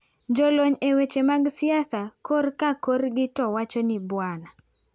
Jolony e weche mag siasa kor ka korgi to wacho ni Bwana.